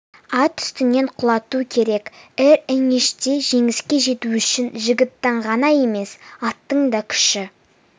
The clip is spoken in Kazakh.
ат үстінен құлату керек эр эңиште жеңіске жету үшін жігіттің ғана емес аттың да күші